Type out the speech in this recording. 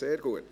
Sehr gut.